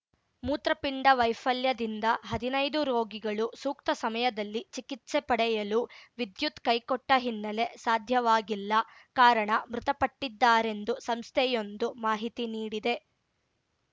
ಮೂತ್ರಪಿಂಡ ವೈಫಲ್ಯದಿಂದ ಹದಿನೈದು ರೋಗಿಗಳು ಸೂಕ್ತ ಸಮಯದಲ್ಲಿ ಚಿಕಿತ್ಸೆ ಪಡೆಯಲು ವಿದ್ಯುತ್ ಕೈಕೊಟ್ಟ ಹಿನ್ನೆಲೆ ಸಾಧ್ಯವಾಗಿಲ್ಲ ಕಾರಣ ಮೃತಪಟ್ಟಿದ್ದಾರೆಂದು ಸಂಸ್ಥೆಯೊಂದು ಮಾಹಿತಿ ನೀಡಿದೆ